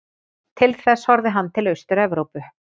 Til þess horfði hann til Austur-Evrópu.